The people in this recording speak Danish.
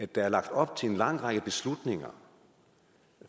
der er lagt op til en lang række beslutninger